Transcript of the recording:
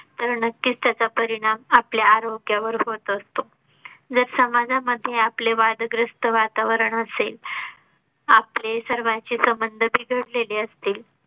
तर नक्कीच त्याचा परिणाम आपल्या आरोग्या वर होत असतो. जर समाजा मध्ये आपले वादग्रस्त वातावरण असेल. आपले सर्वाचे संबंध बिघडलेले असतील